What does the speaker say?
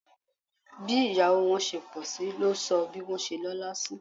Bí ìyàwó wọn ṣe pọ̀sí ló sọ bí wọ́n ṣe lọ́la sí